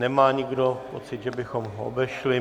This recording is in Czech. Nemá nikdo pocit, že bychom ho obešli?